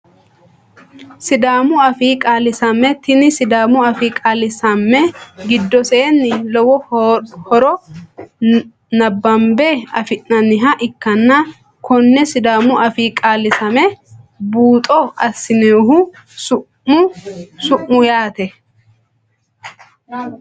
Sidaamu afii qaalisamme tini sidaamu afii qaalisamme gidoseeni lowo horo nabanbe afinaniha ikanna kone sidaamu afii qalisame buuxo asinohu su`mu ayiti.